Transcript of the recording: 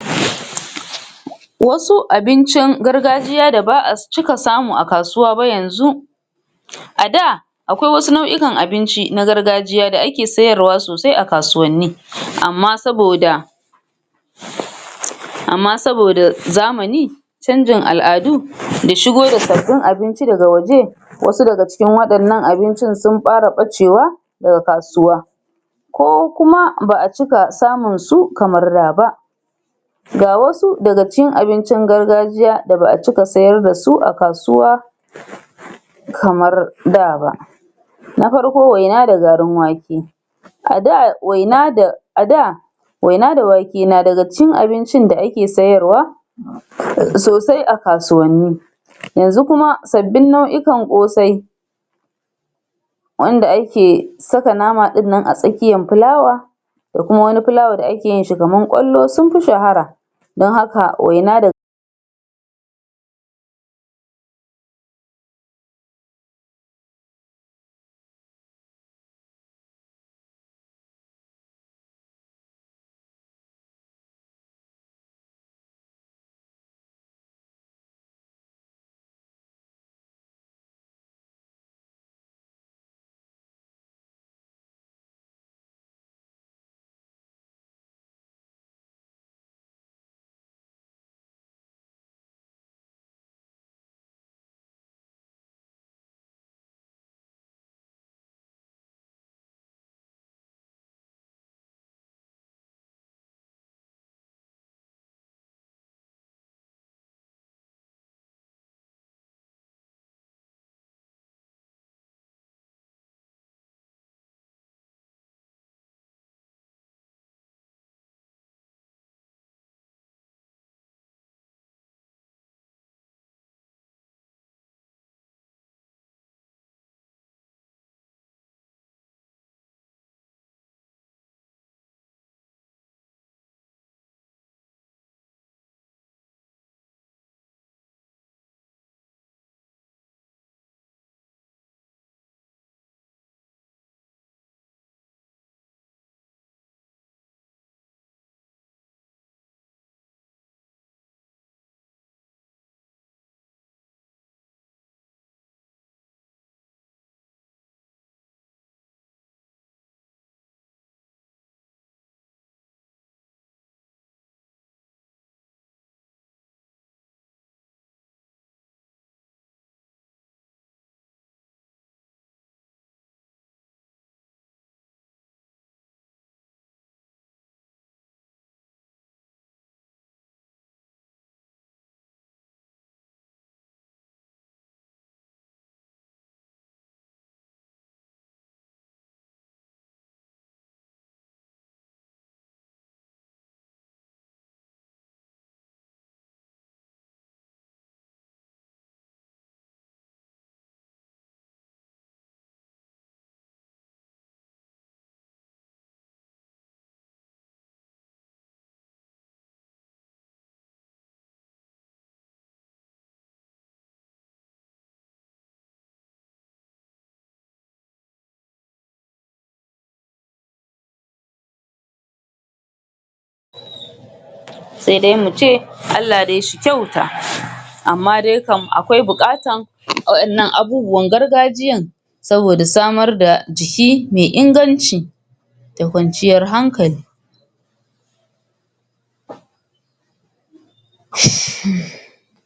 Wasu abincin gargajiya da ba a cika samu a kasuwa ba yanzu a da akwai wasu nau'ikan abinci na gargajiya da ake ke sayarwa sosai a kasuwanni amma saboda amma saboda zamani canjin al'adu da shigo da sabbin abinci daga waje wasu daga cikin waɗannan abincin sun fara ɓacewa daga kasuwa ko kuma ba a cika samun kamar da ba ga wasu daga cikin abincin gargajiya da ba a cika sayar da su a kasuwa kamar da ba na farko waina da garin wake a da waina da a da waina da wake na daga cikin abincin da ake sayarwa sosai a kasuwanni yanzu kuma sabbin nau'ikan ƙosai wanda ake saka nama ɗin nan a tsakiyar fulawa da kuma wani filawa da ake yin shi kamar ƙwallo sun fi shahara don haka waina da sai dai mu ce Allah dai shi kyauta amma dai kam akwai buƙatar waɗannan abubuwan gargajiyan saboda samar da jiki mai inganci da kwanciyar hankali